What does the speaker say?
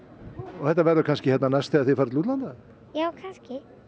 þetta verður kannski hérna næst þegar þið farið til útlanda já kannski